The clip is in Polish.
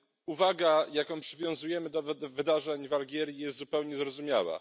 Uwaga, jaką przywiązujemy do wydarzeń w Algierii, jest zupełnie zrozumiała.